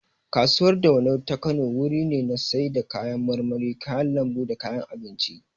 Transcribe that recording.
Kasuwar dawanau ta Kano wuri ne na sai da kayan marmari, kayan lambu da kayan abinci